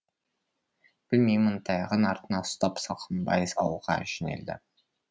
білмеймін таяғын артына ұстап салқамбай ауылға жөнелді